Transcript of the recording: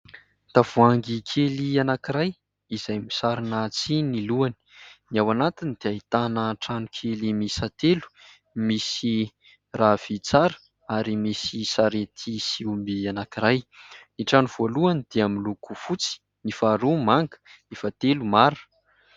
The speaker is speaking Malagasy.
Tavoangy kely anankiray izay misarona tsihy ny lohany. Ny ao anatiny dia aitana trano kely miisa telo misy rahavintsara ary misy sarety sy omby anankiray. Ny trano voalohany dia miloko fotsy, ny faharoa manga, ny fahatelo mara.